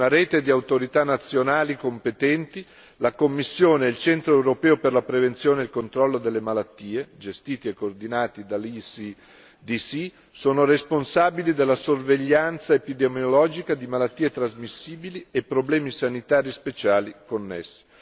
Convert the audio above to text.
Una rete di autorità nazionali competenti, la Commissione e il Centro europeo per la prevenzione e il controllo delle malattie, gestiti e coordinati dall'ECDC, sono responsabili della sorveglianza epidemiologica di malattie trasmissibili e problemi sanitari speciali connessi.